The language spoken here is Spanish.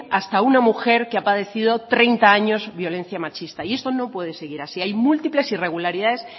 hasta una mujer que ha padecido treinta años violencia machista y esto no puede seguir así hay múltiples irregularidades